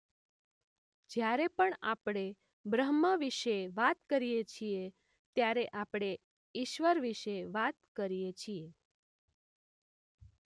જ્યારે પણ આપણે બ્રહ્મ વિશે વાત કરીએ છીએ ત્યારે આપણે ઇશ્વર વિશે વાત કરીએ છીએ.